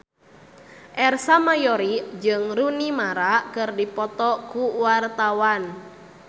Ersa Mayori jeung Rooney Mara keur dipoto ku wartawan